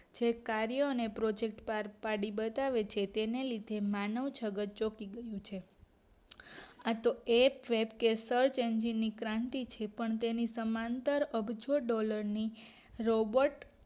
છે કાર્યો અને પ્રોજેક્ટ પાર પાડી બતાવે છે તેને લીધે માનવજગત ચોકી ગયું છે આતો એ છે કે search engine ની ક્રાંતિ થી પણ તેની સમાંતર અબજો ડોલર ની રોબર્ટ